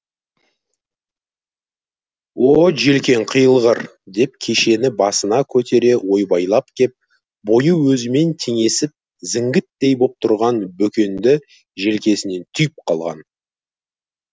о желкең қиылғыр деп кешені басына көтере ойбайлап кеп бойы өзімен теңесіп зіңгіттей боп тұрған бөкенді желкесінен түйіп қалған